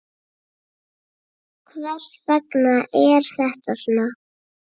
Hvers vegna er þetta svona?